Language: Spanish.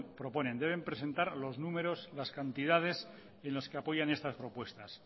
proponen deben presentar los números las cantidades en los que apoyan estas propuestas